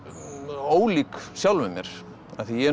ólík sjálfum mér af því ég er